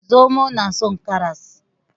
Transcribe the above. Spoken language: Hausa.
Zomo nason karas